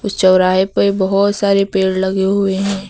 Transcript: इस चौराहे पे बहुत सारे पेड़ लगे हुए हैं।